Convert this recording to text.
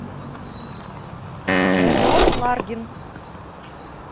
родион ларгин